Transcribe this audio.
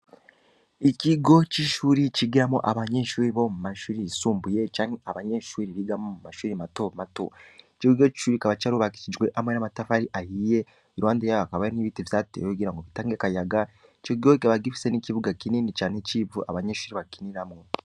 Ikigo c'ishure cigiramwo abanyeshure Bo mumashure yisumbuye, canke abanyeshure biga mumashure matomato, Ico kigo kikaba cubakishijwe amabuye n'amatafari ahiye, Iruhande yaho hakaba hari ibiti bateye bitanga akayaga, icokigo kikaba gifise nikibuga kinini civu, abanyeshure bakiniramwo.